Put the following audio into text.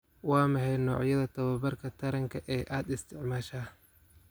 Waa maxay noocyada tababarka taranka ee aad isticmaashaa?